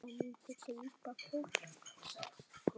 Það myndi grípa fólk.